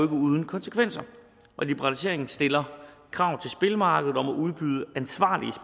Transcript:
uden konsekvenser liberaliseringen stiller krav til spilmarkedet om at udbyde ansvarlige